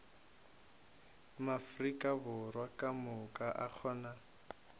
maafrika borwa kamoka a kgona